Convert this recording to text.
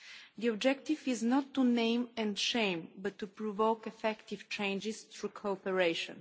The objective is not to name and shame, but to provoke effective changes through cooperation.